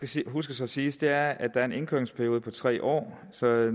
skal huskes at siges det er at er en indkøringsperiode på tre år så